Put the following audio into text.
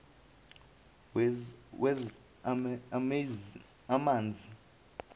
wezamanzi